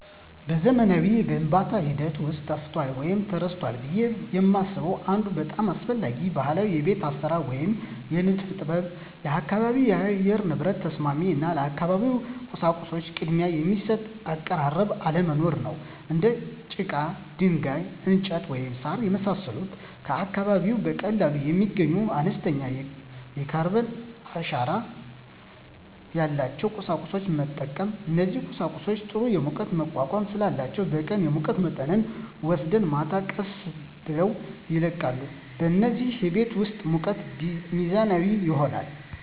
በዘመናዊው የግንባታ ሂደት ውስጥ ጠፍቷል ወይም ተረስቷል ብዬ የማስበው አንድ በጣም አስፈላጊ ባህላዊ የቤት አሰራር ወይም የንድፍ ጥበብ የአካባቢ የአየር ንብረት ተስማሚ እና ለአካባቢው ቁሳቁሶች ቅድሚያ የሚሰጥ አቀራረብ አለመኖር ነው። እንደ ጭቃ፣ ድንጋይ፣ እንጨት፣ ወይም ሣር የመሳሰሉ ከአካባቢው በቀላሉ የሚገኙና አነስተኛ የካርበን አሻራ ያላቸውን ቁሳቁሶች መጠቀም። እነዚህ ቁሳቁሶች ጥሩ የሙቀት መቋቋም ስላላቸው በቀን የሙቀት መጠንን ወስደው ማታ ቀስ ብለው ይለቃሉ፣ በዚህም የቤት ውስጥ ሙቀት ሚዛናዊ ይሆናል።